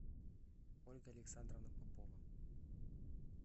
ольга александровна попова